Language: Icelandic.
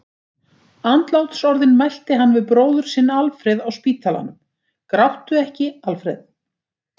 Andlátsorðin mælti hann við bróður sinn Alfreð á spítalanum: Gráttu ekki, Alfreð!